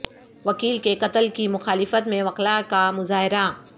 وکیل کے قتل کی مخالفت میں وکلاء کا مظاہرہ